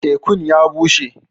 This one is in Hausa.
Tēku'n ya bushe.